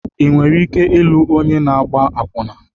Ị nwere ike ịlụ onye na-agba akwụna?